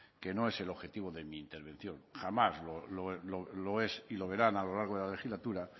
que no es el objetivo de mi intervención jamás lo es y lo verán a lo largo de la legislatura